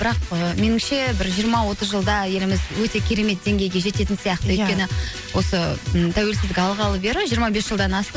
бірақ ііі меніңше бір жиырма отыз жылда еліміз өте керемет деңгейге жететін сияқты өйткені осы м тәуелсіздік алғалы бері жиырма бес жылдан асты